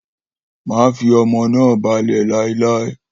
Maṣe fi ọmọ naa balẹ lailai!